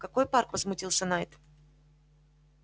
какой парк возмутился найд